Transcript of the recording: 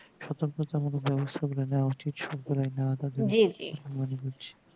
সতর্কতা মূলক ব্যবস্থা গুলো নিয়া উচিত সব গুলো যেটা মনে হচ্ছে